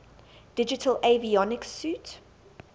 digital avionics suite